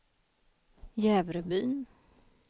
Jävrebyn